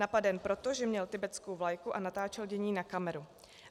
Napaden proto, že měl tibetskou vlajku a natáčel dění na kameru.